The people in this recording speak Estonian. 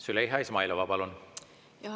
Züleyxa Izmailova, palun!